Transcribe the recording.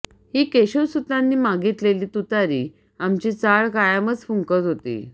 ही केशवसुतांनी मागितलेली तुतारी आमची चाळ कायमच फुंकत होती